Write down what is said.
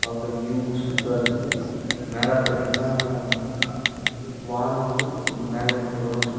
பாக்க வியூ சூப்பரா இருக்கு நேரா பாத்தீங்னா வானோ வந்து மேக மூட்டத்துடன் இருக்கு.